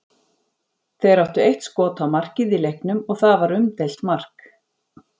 Þeir áttu eitt skot á markið í leiknum og það var umdeilt mark.